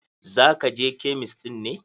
Za ka je kemist ɗin ne?